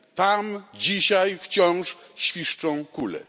Tam dzisiaj wciąż świszczą kule.